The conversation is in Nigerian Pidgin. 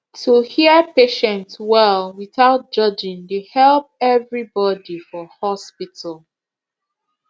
to hear patient well without judging dey help everybody for hospital